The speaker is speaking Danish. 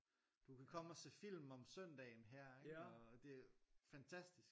Du kan komme og se film om søndagen her ikke og det er fantastisk